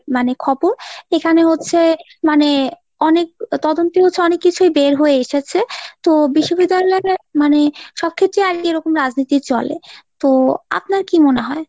মানে খবর এখানে হচ্ছে মানে অনেক তদন্তই হয়েছে অনেক কিছুই বের হয়ে এসেছে তো বিশ্যবিদ্যালয় মানে সব ক্ষেত্রেই আহ এরকম রাজনীতি চলে, তো আপনার কি মনে হয়?